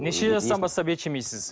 неше жастан бастап ет жемейсіз